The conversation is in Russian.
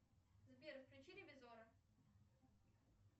сбер включи ревизора